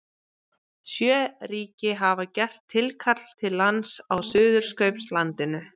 Sjö ríki hafa gert tilkall til lands á Suðurskautslandinu.